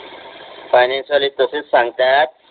finance वाले तसेच सांगतात